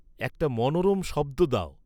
একটা মনোরম শব্দ দাও